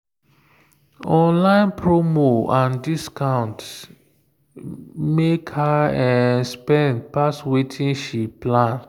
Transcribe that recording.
online promo and discount make her spend pass wetin she plan.